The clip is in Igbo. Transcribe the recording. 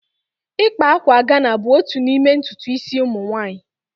Ịkpa akwa Ghana bụ otu n'ime ntutu isi ụmụ nwanyị